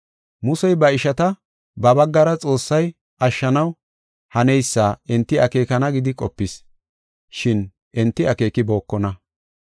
Musey ba ishata ba baggara Xoossay ashshanaw haneysa enti akeekana gidi qopis, shin enti akeekibokona.